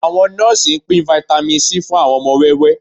Àwọn nọ́ọ́sì ń pín Vitamin C fún àwọn ọmọ wẹ́wẹ́